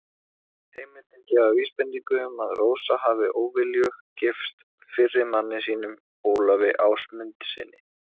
Heimildir gefa vísbendingu um að Rósa hafi óviljug gifst fyrri manni sínum, Ólafi Ásmundssyni.